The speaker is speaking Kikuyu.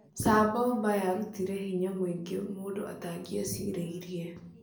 Tsar Bomba yarutire hinya mwingĩ mũndu atangicireria